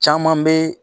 Caman bɛ